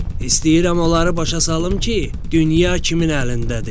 İstəyirəm onları başa salım ki, dünya kimin əlindədir.